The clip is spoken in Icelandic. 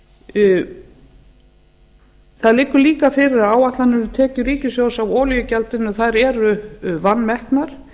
það liggur líka fyrir að áætlanir um tekjur ríkissjóðs af olíugjaldinu eru vanmetnar